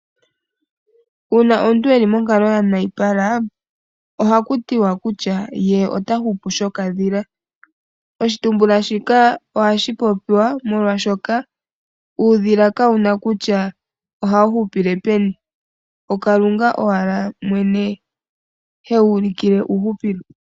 Uuna omuntu eli monkalo ya nayipala ohaku tiwa kutya ye ota hupu shokadhila ,oshitumbuka shika ohashi popiwa molwashoka uudhila ka wuna kutya uudhila oha wu hupile peni okalunga owala mwene he wulikile uuhupilo.